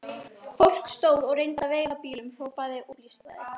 Fólk stóð og reyndi að veifa bílum, hrópaði og blístraði.